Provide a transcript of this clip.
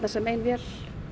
sem ein vél